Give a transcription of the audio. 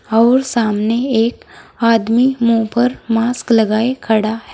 और सामने एक आदमी मुंह पर मास्क लगाए खड़ा--